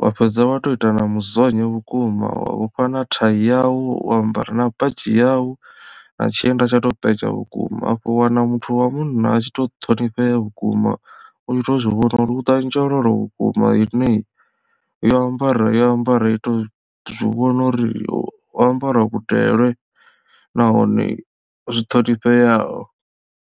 wa fhedza wa to ita na muzonyo vhukuma wa vhofha na thai yau wa ambara na badzhi yau na tshienda tsha to penya vhukuma afho u wana muthu wa munna a tshi to ṱhonifhea vhukuma u to zwivhona uri hu ḓa nzhololo vhukuma ine yo ambara yo ambara i to zwivhona uri yo ambara vhudele nahone zwi ṱhonifheaho.